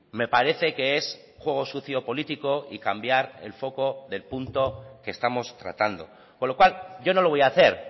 me parece que es juego sucio político y cambiar el foco del punto que estamos tratando con lo cual yo no lo voy a hacer